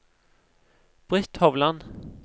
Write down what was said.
Britt Hovland